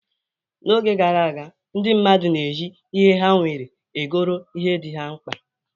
N'oge gara aga, ndị mmadụ na-eji ihe ha nwere egoro ihe dị ha mkpa.